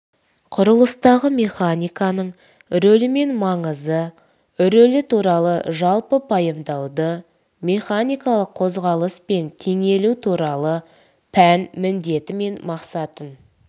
құрылыстағы механиканың рөлі мен маңызы рөлі туралы жалпы пайымдауды механикалық қозғалыс пен теңелу туралы пән міндеті мен мақсатын